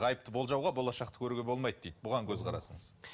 ғайыпты болжауға болашақты көруге болмайды дейді бұған көзқарасыңыз